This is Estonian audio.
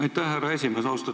Aitäh, härra esimees!